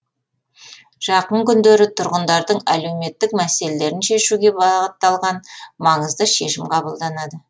жақын күндері тұрғындардың әлеуметтік мәселелерін шешуге бағытталған маңызды шешім қабылданады